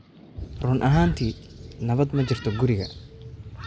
Run ahaantii nabad ma jirto guriga